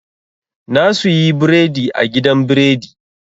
Na suyi biredi a gidan biredi.